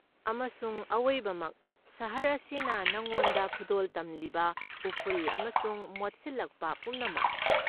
ꯑꯃꯁꯨꯡ ꯑꯋꯣꯏꯕꯃꯛ, ꯁꯍꯔ ꯑꯁꯤꯅ ꯅꯉꯣꯟꯗ ꯈꯨꯗꯣꯜ ꯇꯝꯂꯤꯕ ꯎꯐꯨꯜ ꯑꯃꯁꯨꯡ ꯃꯣꯠꯁꯤꯜꯂꯛꯄ ꯄꯨꯝꯅꯃꯛ꯫